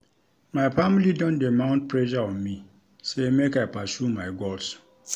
My family don dey mount pressure on me sey make I pursue my goals.